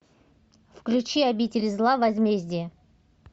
включи обитель зла возмездие